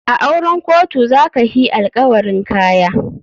A auren kotu za ka hi alkawarin Kaya.